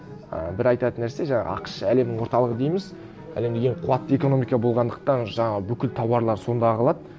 ы бір айтатын нәрсе жаңағы ақш әлемнің орталығы дейміз әлемнің ең қуатты экономика болғандықтан жаңағы бүкіл тауарлар сонда ағылады